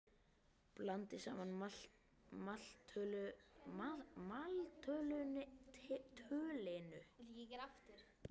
Blandið saman maltölinu, heita vatninu og olíunni.